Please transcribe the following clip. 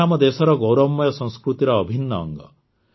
ଏହା ଆମ ଦେଶର ଗୌରବମୟ ସଂସ୍କୃତିର ଅଭିନ୍ନ ଅଙ୍ଗ